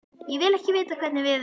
Ég vil ekki vita hvernig veður er.